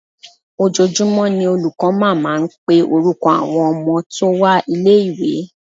Ojoojúmọ́ ni olùkọ́ máa ń máa ń pe orúkọ àwọn ọmọ tó wá ilé ìwé.